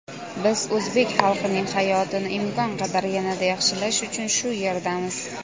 Biz o‘zbek xalqining hayotini imkon qadar yanada yaxshilash uchun shu yerdamiz.